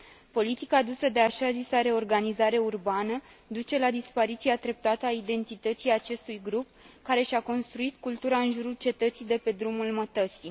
Politica adusă de așa zisa reorganizare urbană duce la dispariția treptată a identității acestui grup, care și a construit cultura în jurul cetății de pe drumul mătăsii.